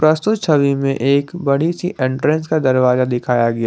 प्रस्तुत छवि में एक बड़ी सी एंट्रेंस का दरवाजा दिखाया गया--